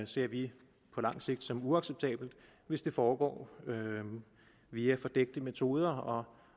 ser vi på lang sigt som uacceptabelt hvis det foregår via fordækte metoder og